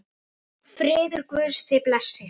Friður Guðs þig blessi.